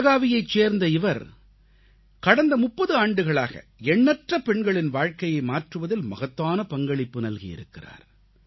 பெலகாவியைச் சேர்ந்த இவர் கடந்த 30 ஆண்டுகளாக எண்ணற்ற பெண்களின் வாழ்க்கையை மாற்றுவதில் மகத்தான பங்களிப்பு நல்கியிருக்கிறார்